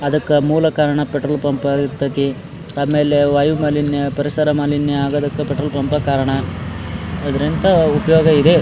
ಅದಕ್ಕ ಮೂಲ ಕಾರಣ ಪೆಟ್ರೋಲ್ ಪಂಪ್ ಇರತೈತಿ ಆಮೇಲೆ ವಾಯು ಮಾಲಿನ್ಯ ಪರಿಸರ ಮಾಲಿನ್ಯ ಆಗುವುದಕ್ಕೆ ಪೆಟ್ರೋಲ್ ಪಂಪ್ ಎ ಕಾರಣ ಇದರಿಂದ ಉಪಯೋಗ ಇದೆ.